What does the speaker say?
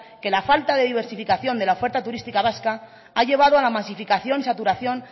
que la falta de diversificación de la oferta turística vasca ha llevado a la masificación y saturación